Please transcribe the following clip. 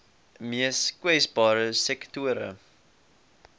mees kwesbare sektore